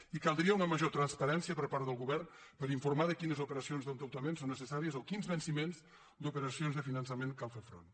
i caldria una major transparència per part del govern per informar de quines operacions d’endeutament són necessàries o a quins venciments d’operacions de finançament cal fer front